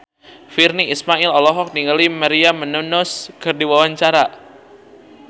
Virnie Ismail olohok ningali Maria Menounos keur diwawancara